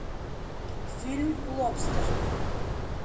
фильм лобстер